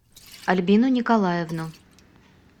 альбину николаевну